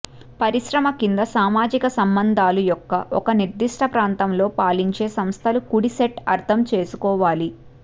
పరిశ్రమ కింద సామాజిక సంబంధాలు యొక్క ఒక నిర్దిష్ట ప్రాంతంలో పాలించే సంస్థలు కుడి సెట్ అర్థం చేసుకోవాలి